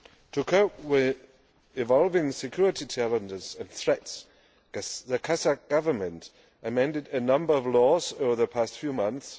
To cope with evolving security challenges and threats, the Kazakh Government has amended a number of laws over the past few months.